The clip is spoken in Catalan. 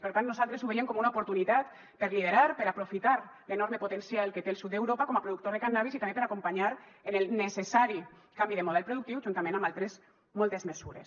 per tant nosaltres ho veiem com una oportunitat per liderar per aprofitar l’enorme potencial que té el sud d’europa com a productor de cànnabis i també per acompanyar en el necessari canvi de model productiu juntament amb altres moltes mesures